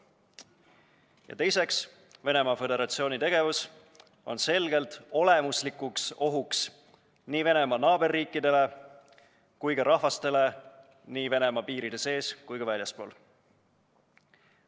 Ja teiseks, Venemaa Föderatsiooni tegevus on selgelt olemuslikuks ohuks nii tema naaberriikidele kui ka rahvastele Venemaa piiride sees ja neist väljaspool.